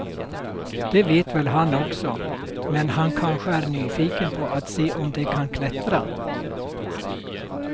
Det vet väl han också, men han kanske är nyfiken på att se om de kan klättra.